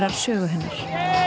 sögu hennar